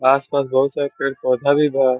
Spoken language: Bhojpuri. आस-पास बहुत सारा पेड-पौधा भी बा।